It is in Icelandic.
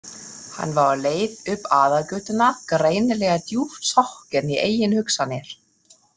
Hann var á leið upp aðalgötuna, greinilega djúpt sokkinn í eigin hugsanir.